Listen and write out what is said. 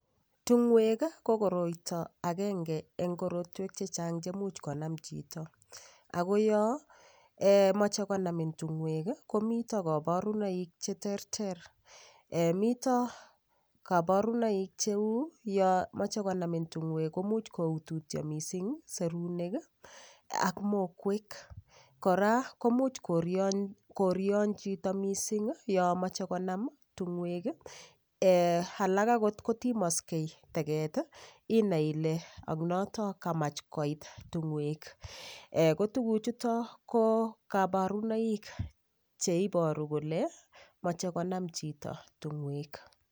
Tung'ooek ii ko koroito agenge en korotwek chechang cheimuch konam chito, ako yomoche konamin tung'ooek ii komiten koborunoik cheterter, miten koborunoik cheu yomoche onamin ting'ooek komuch koututyo mising serunek ii ak mokwek ,kora komuch koryon chito missing yomoche konam tung'ooek ii alak ogot kotimoksek teget ii inai ile aknoton kamach koit tungoek, kotuguchuton ko kaborunoik cheiboru kole moche konam chito tung'ooek.